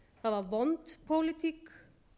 það var vond pólitík